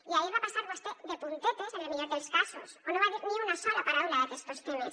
i ahir hi va passar vostè de puntetes en el millor dels casos o no va dir ni una sola paraula d’aquestos temes